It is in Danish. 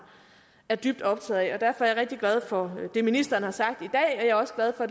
er dybt optaget af og derfor er jeg rigtig glad for det ministeren har sagt i dag jeg er også glad for